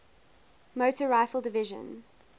motor rifle division